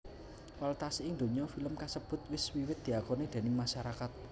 Kualitasé ing donya film kasebut wis wiwit diakoni déning masarakat